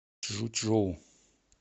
чжучжоу